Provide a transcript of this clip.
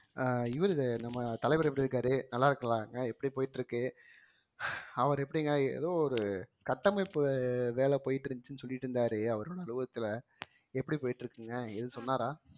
அஹ் இவரு நம்ம தலைவர் எப்படி இருக்காரு நல்லா இருக்கலாம்ங்க எப்படி போயிட்டு இருக்கு அவரு எப்படிங்க ஏதோ ஒரு கட்டமைப்பு வே~ வேலை போயிட்டு இருந்துச்சுன்னு சொல்லிட்டு இருந்தாரே அவரோட அலுவலகத்துல எப்படி போயிட்டு இருக்குங்க ஏதும் சொன்னாரா